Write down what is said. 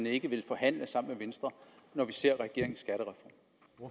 ikke vil forhandle sammen venstre når man ser